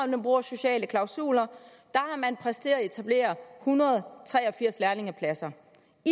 man bruger sociale klausuler har man præsteret at etablere en hundrede og tre og firs lærlingepladser